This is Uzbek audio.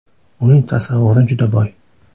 Uning tasavvuri juda boy.